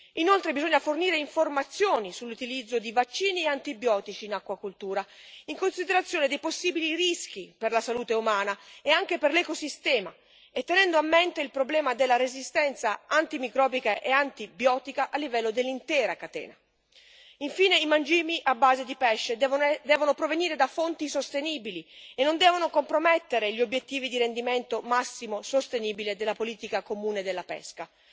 Inoltre, bisogna fornire informazioni sull'utilizzo di vaccini e antibiotici in acquacoltura, in considerazione dei possibili rischi per la salute umana e anche per l'ecosistema e tenendo a mente il problema della resistenza antimicrobica e antibiotica a livello dell'intera catena. Infine, i mangimi a base di pesce devono provenire da fonti sostenibili e non devono compromettere gli obiettivi di rendimento massimo sostenibile della politica comune della pesca,